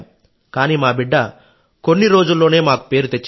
కానీ మా బిడ్డ కొన్ని రోజుల్లోనే మాకు పేరు తెచ్చింది